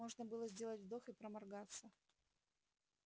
можно было сделать вдох и проморгаться